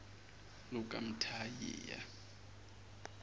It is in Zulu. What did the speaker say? lukamthaniya